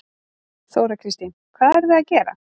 Þóra Kristín: Hvað eruð þið að gera?